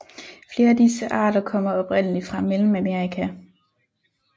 Flere af disse arter kommer oprindeligt fra Mellemamerika